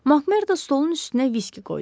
Makmerdo stolun üstünə viski qoydu.